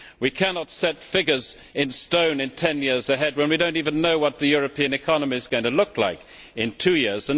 We cannot set figures in stone ten years ahead when we do not even know what the European economy is going to look like in two years.